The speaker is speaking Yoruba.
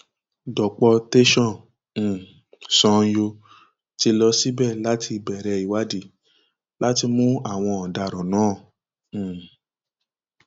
dọpọ tẹsán um sanyo ti lọ síbẹ láti bẹrẹ ìwádìí láti mú àwọn ọdaràn náà um